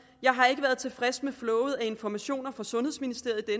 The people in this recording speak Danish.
jeg har ikke været tilfreds med flowet af informationer fra sundhedsministeriet i